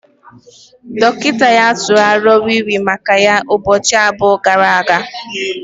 Dọkịta ya tụrụ aro wii wii maka ya ụbọchị abụọ gara aga